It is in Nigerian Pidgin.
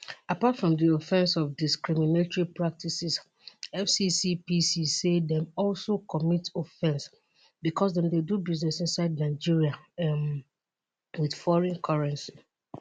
apart from di offence of discriminatory practices fccpc say dem also commit offence because dem dey do business inside nigeria um wit foreign currency